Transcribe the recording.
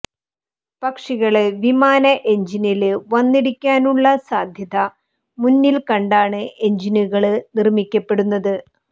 പക്ഷികള് വിമാന എഞ്ചിനില് വന്നിടിക്കാനുള്ള സാധ്യത മുന്നില് കണ്ടാണ് എഞ്ചിനുകള് നിര്മ്മിക്കപ്പെടുന്നത്